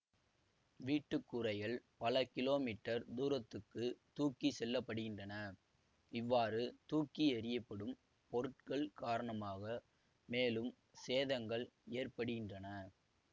வீட்டு கூரைகள் பல கிலோமீட்டர் துரத்துக்குத் தூக்கி செல்லப்படுகின்றன இவ்வாறு தூக்கி எறியப்படும் பொருட்கள் காரணமாக மேலும் சேதங்கள் ஏற்படுகின்றன